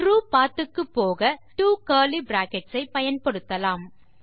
true பத் க்கு போக ட்வோ கர்லி பிராக்கெட்ஸ் ஐ பயன்படுத்தலாம்